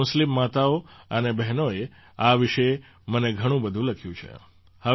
આપણી મુસ્લિમ માતાઓ અને બહેનોએ આ વિશે મને ઘણું બધું લખ્યું છે